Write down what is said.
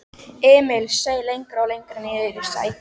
Emil seig lengra og lengra niðrí sætið.